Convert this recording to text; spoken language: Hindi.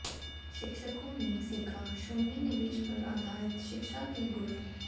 शिक्षकों ने सीखा शून्य निवेश पर आधारित शिक्षा के गुर